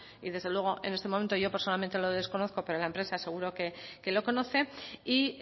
y desde luego en este momento yo personalmente lo desconozco pero la empresa seguro que lo conoce y